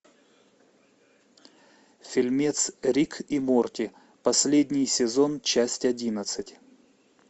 фильмец рик и морти последний сезон часть одиннадцать